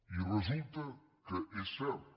i resulta que és cert